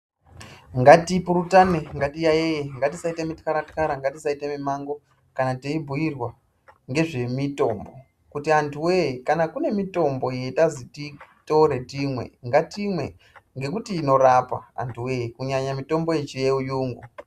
Ngatipurutane, ngatiyaiyeye, ngatisaita mitxaratxara, ngatisaita mimango kana teibhuirwa ngezvemitombo kuti antu wee kana kune mitombo yetazi titore timwe ngatimwe. Ngekuti inorapa antu wee kunyanya mitombo yechiyungu.